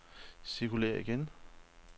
cirkulér igen